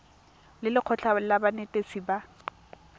le lekgotlha la banetetshi ba